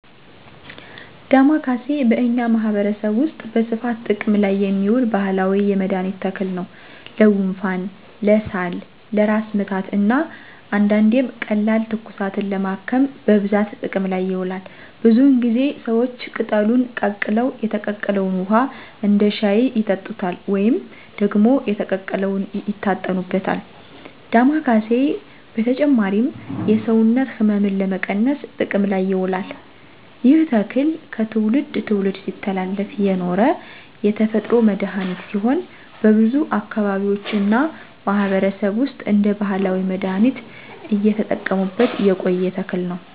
ደማከሴ በእኛ ማህበረሰብ ውስጥ በስፋት ጥቅም ላይ የሚውል ባህላዊ የመድኃኒት ተክል ነው። ለጉንፋን፣ ለሳል፣ ለራስ ምታት እና አንዳንዴም ቀላል ትኩሳትን ለማከም በብዛት ጥቅም ላይ ይውላል። ብዙውን ጊዜ ሰዎች ቅጠሉን ቀቅለው የተቀቀለውን ውሃ እንደ ሻይ ይጠጡታል ወይም ደግሞ የተቀቀለውን ይታጠኑበታል። ዳማኬሴ በተጨማሪም የሰውነት ሕመምን ለመቀነስ ጥቅም ላይ ይውላል። ይህ ተክል ከትውልድ ትውልድ ሲተላለፍ የኖረ የተፈጥሮ መድሀኒት ሲሆን በብዙ አካባቢዎች እና ማህበረሰብ ውስጥ እንደ ባህላዊ መድሃኒት እየተጠቀሙበት የቆየ ተክል ነው።